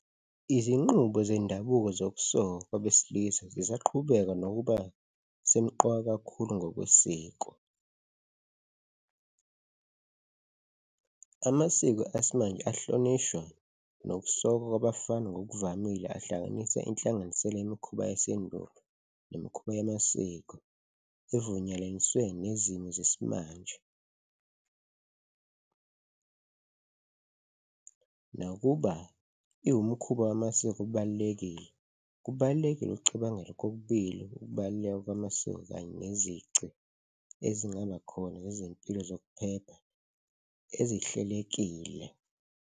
Izinqubo zendabuko zokusokwa kwabesilisa zisaqhubeka nokuba semqoka kakhulu ngokwesiko. Amasiko esimanje ahlonishwa nokusokwa kwabafana ngokuvamile ahlanganise inhlanganisela imikhuba yasendulo nemikhuba yamasiko, evunyelwaniswe nezimo zesimanje . Nakuba iwumkhuba wamasiko obalulekile, kubalulekile ukucabangela kokubili ukubaluleka kwamasiko kanye nezici ezingaba khona nezimpilo zokuphepha ezihlelekile.